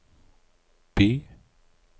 by